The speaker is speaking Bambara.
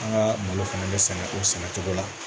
An ka malo fana bɛ sɛnɛ o sɛnɛ cogo la